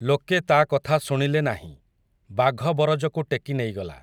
ଲୋକେ ତା' କଥା ଶୁଣିଲେ ନାହିଁ, ବାଘ ବରଜକୁ ଟେକି ନେଇଗଲା ।